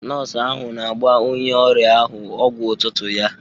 Nọọsụ ahụ na-agba onye ọrịa ahụ ọgwụ ụtụtụ ya.